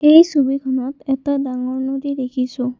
এই ছবিখনত এটা ডাঙৰ নদী দেখিছোঁ।